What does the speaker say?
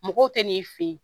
Mɔgɔw tɛ n'i fɛ yen